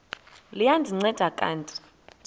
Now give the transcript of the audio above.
liya ndinceda kanti